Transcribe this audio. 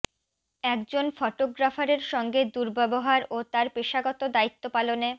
একজন ফটোগ্রাফারের সঙ্গে দুর্ব্যবহার ও তার পেশাগত দায়িত্ব পালনে